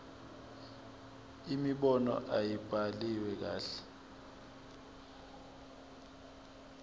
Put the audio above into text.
imibono ayibhaliwe kahle